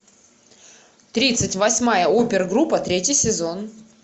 тридцать восьмая опергруппа третий сезон